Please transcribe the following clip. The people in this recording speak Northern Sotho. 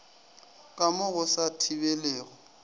ka mo go sa thibelego